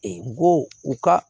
u ka